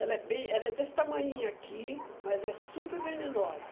Ela é bem ela é desse tamanhinho aqui, mas é super venenosa.